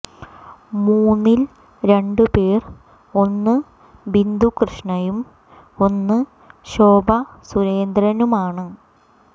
മൂന്നിൽ രണ്ടു പേർ ഒന്നു ബിന്ദു കൃഷ്ണയും ഒന്നു ശോഭാ സുരേന്ദ്രനുമാണ്